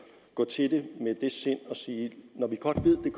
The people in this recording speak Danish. gå til det med et åbent sind og sige når vi godt ved